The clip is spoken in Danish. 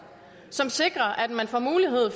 som sikrer at man får mulighed